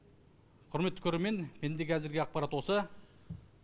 құрметті көрермен менде қазіргі ақпарат осы